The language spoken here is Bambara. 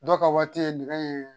Dɔw ka waati ye nɛgɛ ye